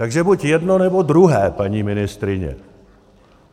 Takže buď jedno, nebo druhé, paní ministryně.